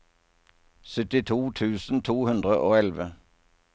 sytti tusen to hundre og elleve